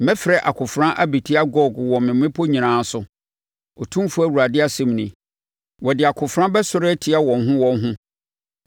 Mɛfrɛ akofena abɛtia Gog wɔ me mmepɔ nyinaa so, Otumfoɔ Awurade asɛm nie. Wɔde akofena bɛsɔre atia wɔn ho wɔn ho.